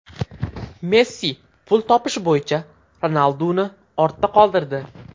Messi pul topish bo‘yicha Ronalduni ortda qoldirdi.